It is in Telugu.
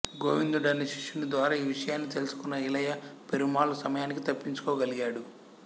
గోవిందుడనే శిష్యుని ద్వారా ఈ విషయాన్ని తెలుసుకొన్న ఇళయ పెరుమాళ్ సమయానికి తప్పించుకోగలిగాడు